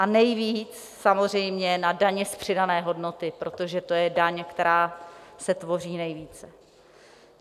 A nejvíc samozřejmě na dani z přidané hodnoty, protože to je daň, která se tvoří nejvíce.